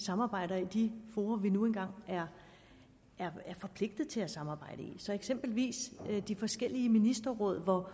samarbejder i de fora vi nu engang er forpligtet til at samarbejde i eksempelvis i de forskellige ministerråd hvor